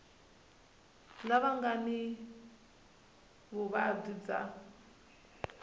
lava nga ni vuvabyi bya